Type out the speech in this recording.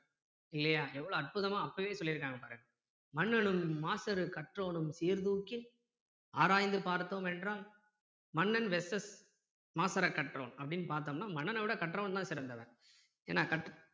இல்லையா எவ்வளோ அற்புதமா அப்போவே சொல்லி இருக்காங்க பாருங்க மன்னனும் மாசறக் கற்றோனும் சீர்தூக்கின் ஆராய்ந்து பார்த்தோம் என்றால் மன்னன் verses மாசறக் கற்றோன் அப்படின்னு பார்த்தோம்னா மன்னனைவிட கற்றோன் தான் சிறந்தவன் ஏன்னா